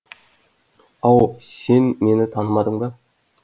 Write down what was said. ау сен мені танымадың ба